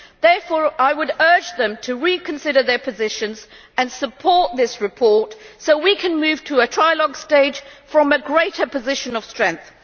Therefore, I would urge them to reconsider their positions and support this report so we can move to a trilogue stage from a greater position of strength.